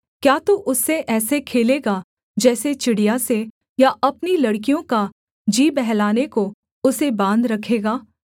क्या तू उससे ऐसे खेलेगा जैसे चिड़िया से या अपनी लड़कियों का जी बहलाने को उसे बाँध रखेगा